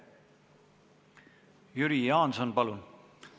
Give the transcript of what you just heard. Jüri Jaanson, palun!